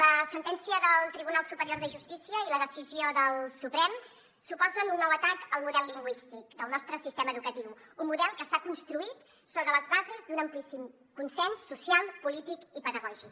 la sentència del tribunal superior de justícia i la decisió del suprem suposen un nou atac al model lingüístic del nostre sistema educatiu un model que està construït sobre les bases d’un amplíssim consens social polític i pedagògic